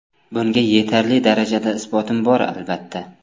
Bunga yetarli darajada isbotim bor, albatta.